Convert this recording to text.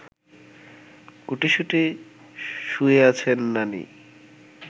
গুটিসুটি শুয়ে আছেন নানি